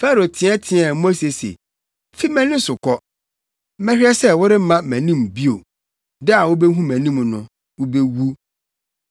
Farao teɛteɛɛ Mose se, “Fi mʼani so kɔ! Mɛhwɛ sɛ woremma mʼanim bio! Da a wubehu mʼanim no, wubewu.”